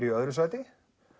í öðru sæti